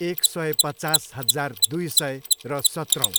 एक सय पचास हजार दुई सय र सत्रौँ।